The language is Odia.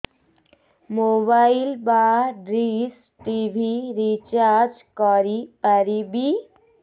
ମୋବାଇଲ୍ ବା ଡିସ୍ ଟିଭି ରିଚାର୍ଜ କରି ପାରିବି